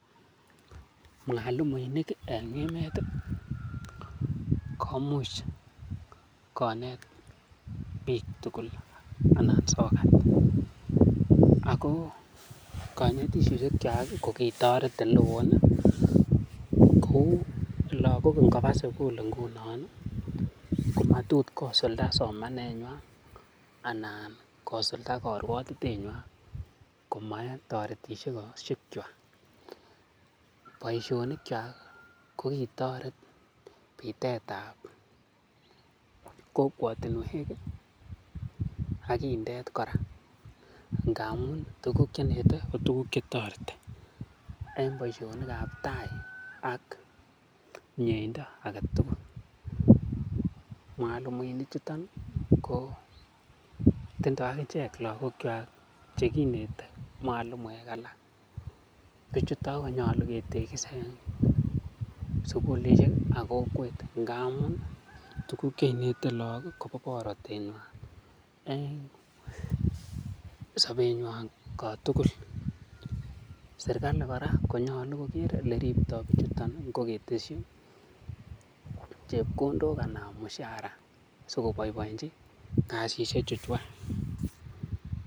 Mwalimuinik en emet komuch konet biik tugul ng'alekab sokat. Ago konetisiosiek chwak ko kitoret ele woo kou lagok ingoba sugul ngunon, komatot kosulda somanenywan anan kosulda korwotitenywan koma en toretisiosiek kwak. Boisionikwak kogitoret bitet ab kokwotinwek ak indet kora ngamun tuguk che inete ko tuguk che toreti en boisionik ab taa ak mieindo age tugul. Mwalimuinik chuto ko tindo ak ichek lagokwak che kinete mwalimuek alak. Biichuto konyolu ketegis en sugulishek ak kokwet ngamun tuguk che inete lagok ko bo borotet nywan. En sobenywan kotugul. Serkalit kora konyolu kogeer ole ripto bichuto; ngo ketesyi chepkondok anan mshahara sikoboiboenchi kasishek chu chwak.